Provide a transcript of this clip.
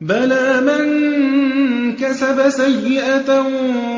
بَلَىٰ مَن كَسَبَ سَيِّئَةً